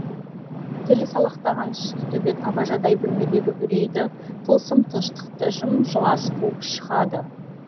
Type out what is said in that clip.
тілі салақтаған сұсты төбет абажадай бөлмедегі үрейді тылсым тыныштықты жым жылас қуып шығады